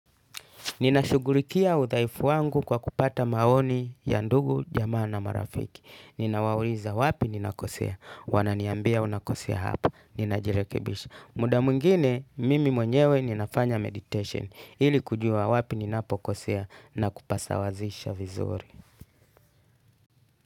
Nina shughulikia udhaifu wangu kwa kupata maoni ya ndugu, jamaa na marafiki. Nina wauliza wapi ninakosea. Wananiambia unakosea hapa. Nina jirekebisha. Muda mwingine, mimi mwenyewe ninafanya meditation. Ili kujua wapi ninapo kosea na kupasawazisha vizuri.